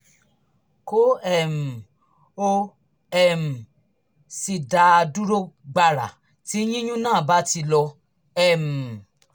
kó um o um sì dá a dúró gbàrà tí yíyún náà bá ti lọ um